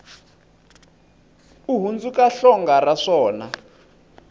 u hundzuka hlonga ra swona